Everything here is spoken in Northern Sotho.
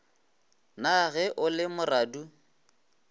na ge o le moradu